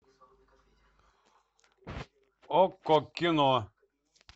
окко кино